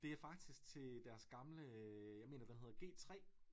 Det er faktisk til deres gamle jeg mener den hedder G 3